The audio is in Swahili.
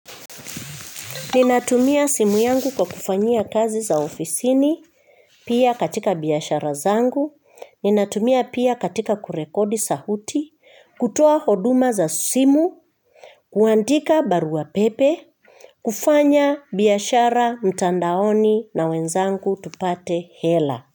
Ninatumia simu yangu kwa kufanyia kazi za ofisini, pia katika biashara zangu, ninatumia pia katika kurekodi sauti, kutoa huduma za simu, kuandika barua pepe, kufanya biashara mtandaoni na wenzangu tupate hela.